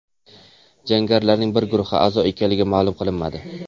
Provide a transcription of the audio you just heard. Jangarilarning biror guruhga a’zo ekanligi ma’lum qilinmadi.